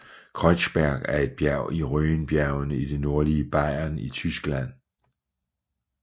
Kreuzberg er et bjerg i Rhönbjergene i det nordlige Bayern i Tyskland